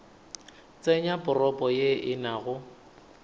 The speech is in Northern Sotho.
tsenya propo ye e nago